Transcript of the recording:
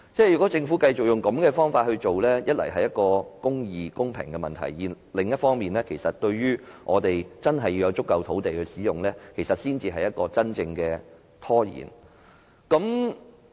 如果政府繼續以這種方法行事，一方面會引起公義和公平的問題；另一方面未能覓得足夠土地，對各項發展造成拖延。